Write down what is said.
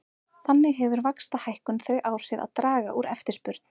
Þannig hefur vaxtahækkun þau áhrif að draga úr eftirspurn.